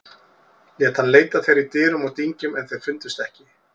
Lét hann leita þeirra í dyrum og dyngjum en þeir fundust ekki.